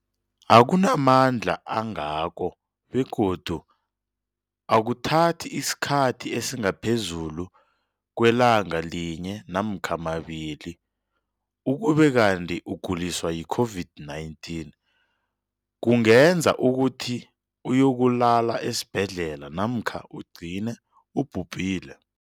akuna mandla angako begodu akuthathi isikhathi esingaphezulu kwelanga linye namkha mabili, ukube kanti ukuguliswa yi-COVID-19 kungenza ukuthi uyokulala esibhedlela namkha ugcine ubhubhile.